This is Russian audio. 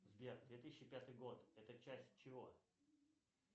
сбер две тысячи пятый год это часть чего